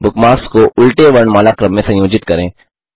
bookmarks को उल्टे वर्णमाला क्रम में संयोजित करें